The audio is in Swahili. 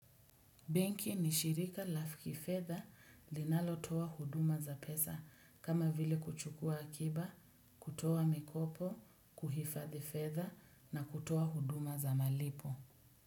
Bengi ni shirika la kifedha linalotoa huduma za pesa kama vile kuchukua akiba, kutoa mikopo, kuhifadhi fedha na kutoa huduma za malipo.